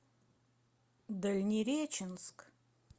дальнереченск